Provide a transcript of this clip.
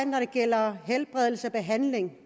når det gælder helbredelse og behandling